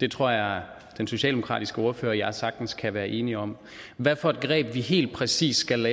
det tror jeg at den socialdemokratiske ordfører og jeg sagtens kan være enige om hvad for et greb vi helt præcis skal